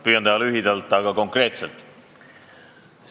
Püüan teha lühidalt, aga konkreetselt.